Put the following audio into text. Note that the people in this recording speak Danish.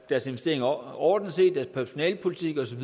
deres investeringer overordnet set deres personalepolitik osv